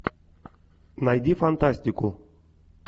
найди фантастику